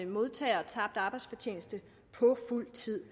modtager tabt arbejdsfortjeneste på fuld tid